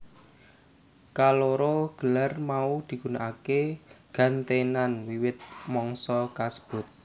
Kaloro gelar mau digunakaké gentènan wiwit mangsa kasebut